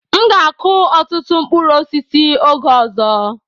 M ga akụ ọtụtụ mkpụrụ osisi oge ọzọ.